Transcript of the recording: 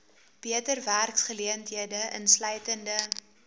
beter werksgeleenthede insluitende